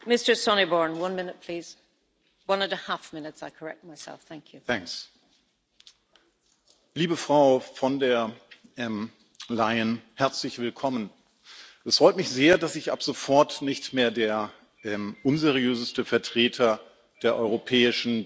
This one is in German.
Frau Präsidentin! Liebe Frau von der Leyen, herzlich willkommen! Es freut mich sehr, dass ich ab sofort nicht mehr der unseriöseste Vertreter der europäischen Demokratie bin.